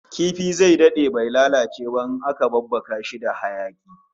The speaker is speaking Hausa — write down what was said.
Kifi zai dade bai lalace ba in aka babbaka shi da hayaki